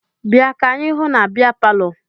Bịa ka anyị hụ na bịa palọ!